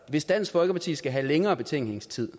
hvis dansk folkeparti skal have længere betænkningstid